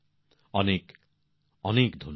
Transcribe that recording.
অনেক অনেক ধন্যবাদ